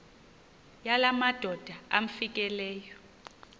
yala madoda amfikeleyo